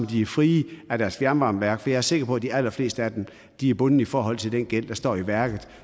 de er frie af deres fjernvarmeværk for jeg er sikker på at de allerfleste af dem er bundet i forhold til den gæld der står i værket